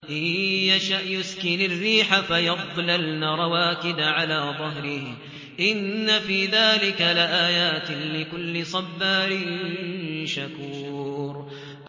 إِن يَشَأْ يُسْكِنِ الرِّيحَ فَيَظْلَلْنَ رَوَاكِدَ عَلَىٰ ظَهْرِهِ ۚ إِنَّ فِي ذَٰلِكَ لَآيَاتٍ لِّكُلِّ صَبَّارٍ شَكُورٍ